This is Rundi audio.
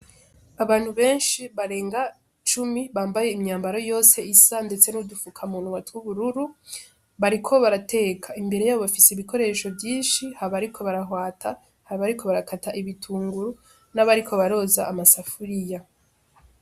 Abantu benshi barenga cumi bambaye imyambaro yose isa, ndetse n'udufukamunwa tw'ubururu, bariko barateka, imbere yabo bafise ibikoresho vyinshi hari abariko barahwata, hari abariko barakata ibitunguru, n'abariko baroza amasafuriya.